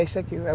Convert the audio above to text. É isso aqui.